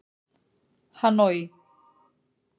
Hanoi